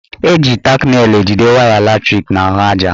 Eji tak nelụ ejide waya latrik n'ahụaja.